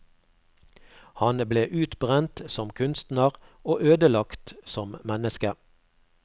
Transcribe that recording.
Han ble utbrent som kunstner og ødelagt som menneske.